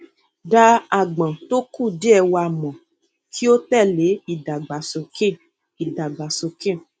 dá aágbọn tó kùdìẹ wà mọ kí o tẹlé ìdàgbàsókè ìdàgbàsókè